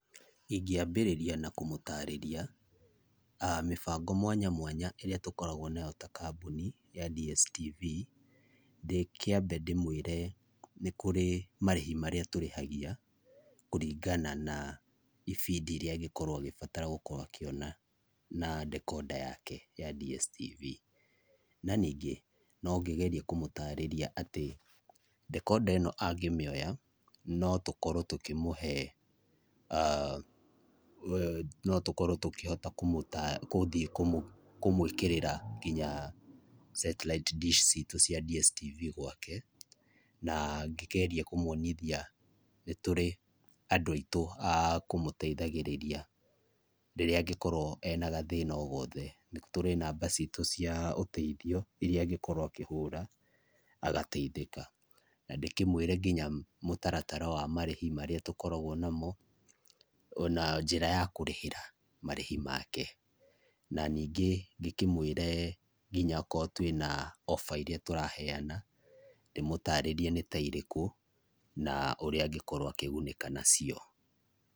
Ingĩambĩrĩria na kũmũtarĩria a mĩbango mwanya mwanya ĩria tũkoragwo nayo ta kambuni ya DSTV ndĩkiambe ndĩmwĩre nĩkũrĩ marihi marĩa tũrĩhagia kũringana na ibindi iria angĩkorwo agĩbatara akĩona na dekonda yake ya DSTV. Na ningĩ nongĩgerie kũmũtarĩria atĩ dekonda ĩno angĩmĩoya notũkorwo tũkĩmũhe a notũkorwo tũkĩhota kũmũta kũthiĩ kũmwĩkĩrĩra nginya setiraiti ndish citu cia DSTV gwake. Na ngĩgerie kũmwonithia nĩtũrĩ andũ aitũ a kũmũteithagĩrĩria rĩrĩa angĩkorwo ena gathĩna ogothe. Nĩtũrĩ namba citũ cia ũteithio iria angĩkorwo akĩhũra agateithĩka na ndĩkĩmwire nginya mũtaratara wa marĩhi marĩa tũkoragwo namo ona njĩra ya kũrĩhĩra marĩhi make. Na ningĩ ngĩkĩmwĩre nginya okorwo twina offer iria tũraheana ndĩmũtarĩrie nĩ ta irĩkũ na ũrĩa angĩkorwo akĩgũnĩka nacio.